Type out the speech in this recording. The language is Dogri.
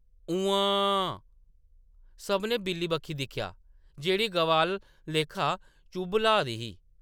उम्म्मांऽऽ.. सभनें बिल्ली बक्खी दिक्खेआ, जेह्‌‌ड़ी गवा आह्‌ला लेखा चुभ ल्हा दी ही ।